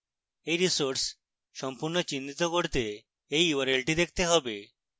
এই resource সম্পূর্ণ চিহ্নিত করতে এই url she দেখতে হবে